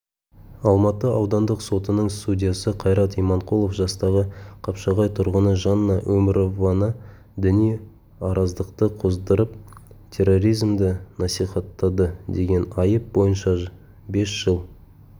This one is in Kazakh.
алматы аудандық сотының судьясы қайрат иманқұлов жастағы қапшағай тұрғыны жанна өмірованы діни араздықты қоздырып терроризмді насихаттады деген айып бойынша бес жыл